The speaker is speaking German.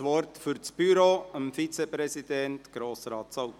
Für das Büro gebe ich dem Vizepräsidenten, Grossrat Zaugg, das Wort.